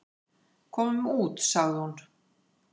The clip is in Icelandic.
"""Komum út, sagði hún."""